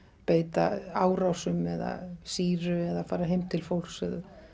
beita árásum eða sýru eða fara heim til fólks